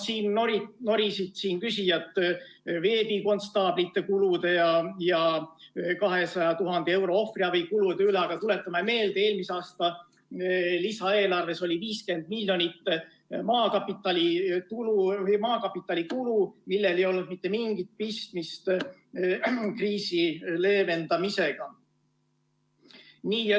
Siin norisid küsijad veebikonstaablite kulude ja 200 000 euro ohvriabikulude üle, aga tuletame meelde, et eelmise aasta lisaeelarves oli 50 miljonit eurot maakapitali kulu, millel ei olnud mitte mingit pistmist kriisi leevendamisega.